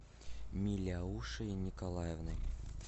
миляушей николаевной